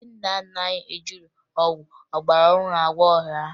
Ndị nna nna anyị ejighi ọgwụ ọgbarọhụrụ were agwọ ọrịa ha